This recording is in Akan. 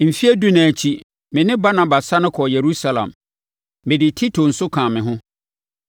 Mfeɛ dunan akyi, me ne Barnaba sane kɔɔ Yerusalem. Mede Tito nso kaa me ho.